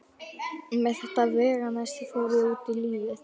Með þetta veganesti fór ég út í lífið.